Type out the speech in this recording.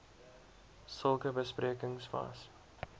sulke besprekings was